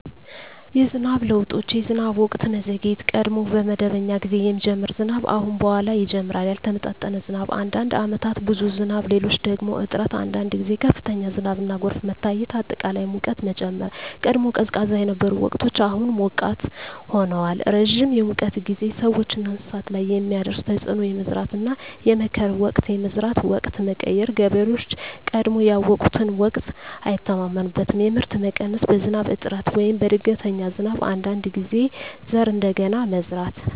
የዝናብ ለውጦች የዝናብ ወቅት መዘግየት – ቀድሞ በመደበኛ ጊዜ የሚጀምር ዝናብ አሁን በኋላ ይጀምራል ያልተመጣጠነ ዝናብ – አንዳንድ ዓመታት ብዙ ዝናብ፣ ሌሎች ደግሞ እጥረት አንዳንድ ጊዜ ከፍተኛ ዝናብና ጎርፍ መታየት አጠቃላይ ሙቀት መጨመር – ቀድሞ ቀዝቃዛ የነበሩ ወቅቶች አሁን ሞቃት ሆነዋል ረጅም የሙቀት ጊዜ – ሰዎችና እንስሳት ላይ የሚያደርስ ተፅዕኖ የመዝራትና የመከር ወቅት የመዝራት ወቅት መቀየር – ገበሬዎች ቀድሞ ያውቁትን ወቅት አይተማመኑበትም የምርት መቀነስ – በዝናብ እጥረት ወይም በድንገተኛ ዝናብ አንዳንድ ጊዜ ዘር እንደገና መዝራት